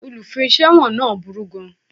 Olùfiṣẹ̀wọ̀n náà burú gan